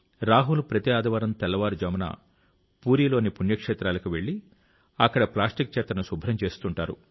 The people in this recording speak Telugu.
రాహుల్ ప్రతి ఆదివారం తెల్లవారుజామున పూరీలోని పుణ్యక్షేత్రాలకు వెళ్లి అక్కడ ప్లాస్టిక్ చెత్తను శుభ్రం చేస్తుంటారు